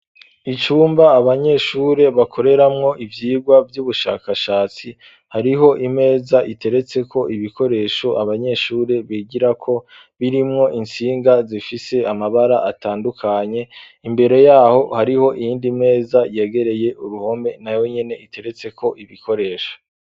Icumba abanyeshuri bakoreramwo ivyigwa vy'ubushakashatsi, hariho imeza iteretseko ibikoresho abanyeshuri bigirako birimwo intsinga zifise amabara atandukanye, imbere yaho hariho iyindi meza yegereye uruhome nayo nyene iteretseko ibikoresho.